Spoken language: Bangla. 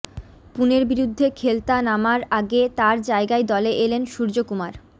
পুণের বিরুদ্ধে খেলতা নামার আগে তাঁর জায়গায় দলে এলেন সূর্যকুমার